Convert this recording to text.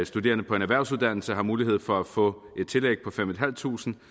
studerende på en erhvervsuddannelse har mulighed for at få et tillæg på fem tusind